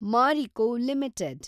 Marico limited